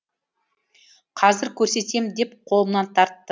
қазір көрсетем деп қолымнан тартты